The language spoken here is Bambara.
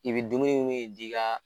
I bɛ dumuni min d'i ka